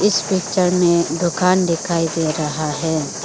इस पिक्चर में दुकान दिखाई दे रहा है।